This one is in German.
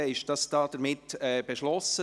Damit ist dies beschlossen: